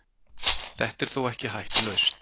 Þetta er þó ekki hættulaust.